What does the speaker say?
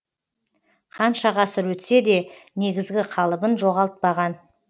қанша ғасыр өтсе де негізгі қалыбын жоғалтпаған